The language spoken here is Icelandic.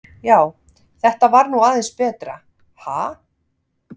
Já, þetta var nú aðeins betra, ha!